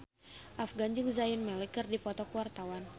Afgan jeung Zayn Malik keur dipoto ku wartawan